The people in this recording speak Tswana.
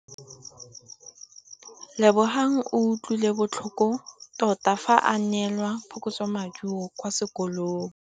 Lebogang o utlwile botlhoko tota fa a neelwa phokotsômaduô kwa sekolong.